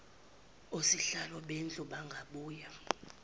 osihlalo bendlu bangabuye